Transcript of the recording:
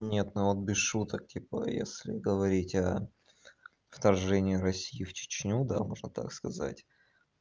нет ну вот без шуток типа если говорить о вторжении россии в чечню да можно так сказать